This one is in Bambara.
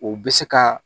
O bɛ se ka